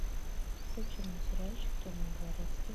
включи мне сериальчик темный дворецкий